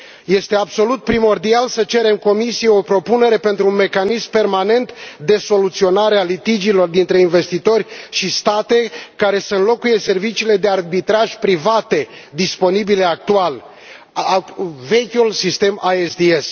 Este absolut primordial să cerem Comisiei o propunere pentru un mecanism permanent de soluționare a litigiilor dintre investitori și state, care să înlocuiască serviciile de arbitraj private, disponibile actual vechiul sistem ASDS.